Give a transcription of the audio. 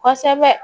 Kosɛbɛ